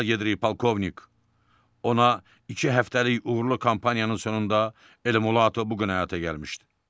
Əla gedir polkovnik, ona iki həftəlik uğurlu kampaniyanın sonunda Ele Mulatto bu gün həyata gəlmişdi.